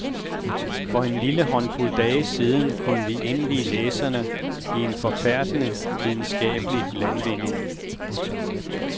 For en lille håndfuld dage siden kunne vi indvi læserne i en forfærdende videnskabelig landvinding.